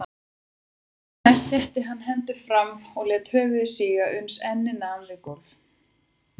Því næst rétti hann hendurnar fram og lét höfuð síga uns ennið nam við gólf.